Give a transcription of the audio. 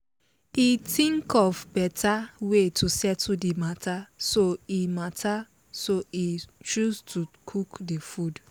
he think of better way to settle the matter so he matter so he choose to cook the food